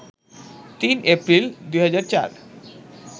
৩ April, ২০০৪